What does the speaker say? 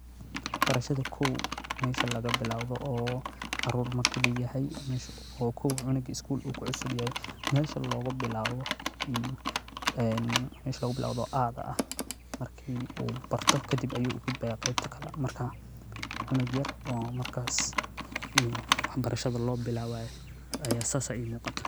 Barashada koow meesha lagabilowdo oo kow marku cunuga skolka kucusubyahay meesha logabilawo oo aa ah marku barto kadib ayu ugudbaya markas cunug yar oo waxbarashada lobilawayo marka sidas aya imuqata.